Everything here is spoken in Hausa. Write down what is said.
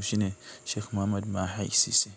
shine Sheikh Muhammad Mahai sis.